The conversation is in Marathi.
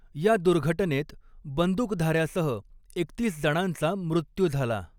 या दुर्घटनेत बंदूकधाऱ्यासह एकतीस जणांचा मृत्यू झाला.